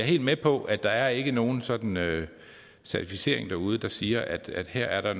helt med på at der ikke er nogen sådan certificering derude der siger at at her er der